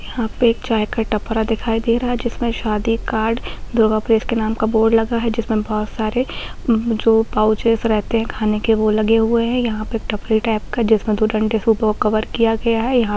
यहाँ पे एक चाय का टपरा दिखाई दे रहा है जिसमें शादी कार्ड दुर्गा प्रेस के नाम का बोर्ड लगा हुए है जिसमें बहोत सारे जो पाउचेस रहते हैं खाने के वो लगे हुए हैं यहाँ पे एक टपरी टाइप का जिसमें दो डंडे से वो कवर किया गया है यहाँ --